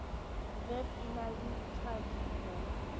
vep e na le tjhadimo